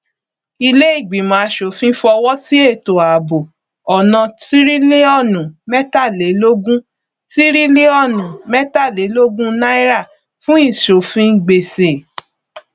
iléìgbìmọ aṣòfin fọwọsí ètò ààbò ọnà tíríliọnù mẹtàlélógún tíríliọnù mẹtàlélógún náírà fún ìṣòfin gbèsè